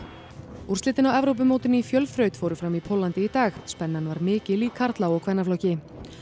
úrslitin á Evrópumótinu í fjölþraut fóru fram í í dag spennan var mikil í karla og kvennaflokki